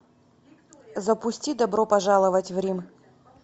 запусти добро пожаловать в рим